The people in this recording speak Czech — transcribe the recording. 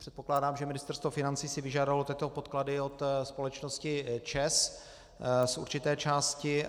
Předpokládám, že Ministerstvo financí si vyžádalo tyto podklady od společnosti ČEZ z určité části.